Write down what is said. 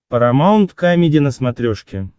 парамаунт камеди на смотрешке